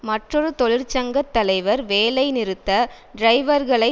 மற்றொரு தொழிற்சங்க தலைவர் வேலைநிறுத்த டிரைவர்களை